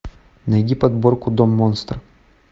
найди подборку дом монстр